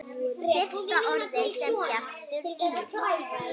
Fyrsta orðið sem Bjartur í